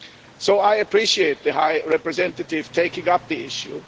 So I appreciate the High Representative taking up the issue.